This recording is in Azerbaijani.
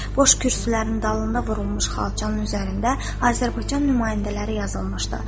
Boş kürsülərin dalında vurulmuş xalçanın üzərində Azərbaycan nümayəndələri yazılmışdı.